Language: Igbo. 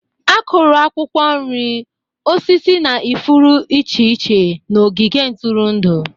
Akụru akwukwo nri, osisi na ifuru iche iche na ogige ntụrụndụ.